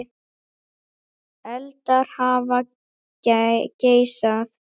Eldar hafa geisað